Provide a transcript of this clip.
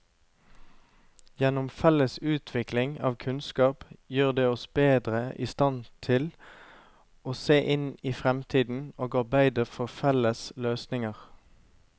Gjennom felles utvikling av kunnskap gjør det oss bedre i stand til å se inn i fremtiden og arbeide for felles løsninger.